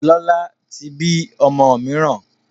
Lọ́la tí bí ọmọ mìíràn